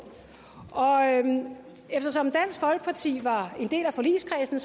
eftersom dansk folkeparti var en del af forligskredsen